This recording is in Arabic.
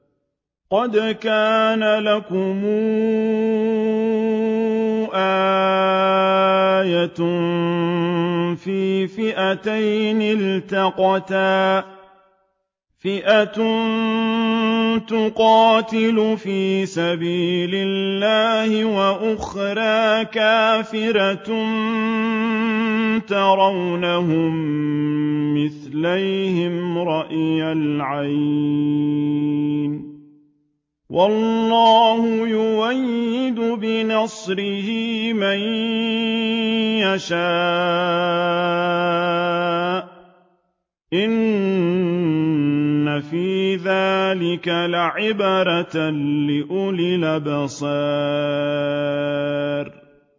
قَدْ كَانَ لَكُمْ آيَةٌ فِي فِئَتَيْنِ الْتَقَتَا ۖ فِئَةٌ تُقَاتِلُ فِي سَبِيلِ اللَّهِ وَأُخْرَىٰ كَافِرَةٌ يَرَوْنَهُم مِّثْلَيْهِمْ رَأْيَ الْعَيْنِ ۚ وَاللَّهُ يُؤَيِّدُ بِنَصْرِهِ مَن يَشَاءُ ۗ إِنَّ فِي ذَٰلِكَ لَعِبْرَةً لِّأُولِي الْأَبْصَارِ